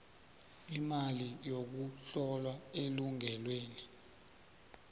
imali yokuhlola elungelweni